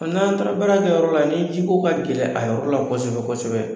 N'an taara baara kɛyɔrɔ la ni ji ko ka gɛlɛn a yɔrɔ la kɔsɛbɛ-kɔsɛbɛ